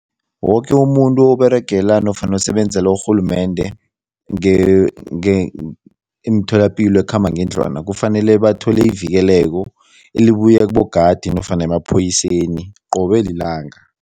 Woke umuntu oberegela nofana osebenzela urhulumende emitholapilo ekhambangendlwana kufanele bathole ivikeleko elibuya kibogadi nofana emaphoyiseni qobe lilanga.